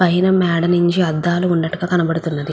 పైన మేడ మేద అద్దాలు ఉన్నట్టుగా కనిపిస్తుంది.